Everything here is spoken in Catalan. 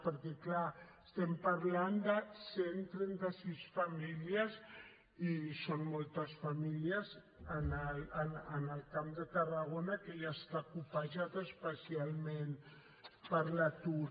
perquè clar estem parlant de cent i trenta sis famílies i són moltes famílies al camp de tarragona que ja està colpejat especialment per l’atur